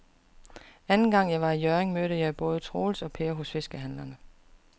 Anden gang jeg var i Hjørring, mødte jeg både Troels og Per hos fiskehandlerne.